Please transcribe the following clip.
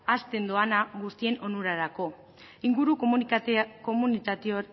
azken doana guztien onurarako inguru